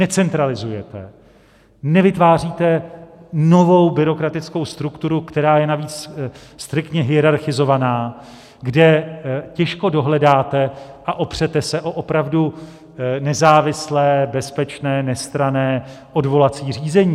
Necentralizujete, nevytváříte novou byrokratickou strukturu, která je navíc striktně hierarchizovaná, kde těžko dohledáte a opřete se o opravdu nezávislé, bezpečné, nestranné odvolací řízení.